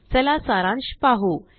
चला सारांश पाहू